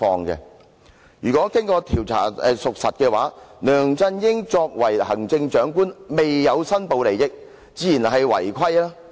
若經調查屬實，梁振英作為行政長官未申報利益，自然是違規行為。